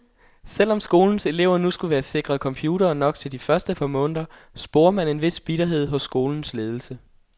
Selvom skolens elever nu skulle være sikret computere nok til de første par måneder, sporer man en vis bitterhed hos skolens ledelse.